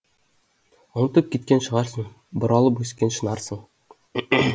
ұмытып кеткен шығарсың бұралып өскен шынарсың